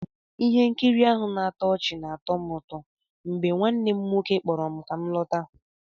Ihe nkiri ahụ na-atọ ọchị na-atọ m ụtọ mgbe nwanne m nwoke kpọrọ m ka m lọta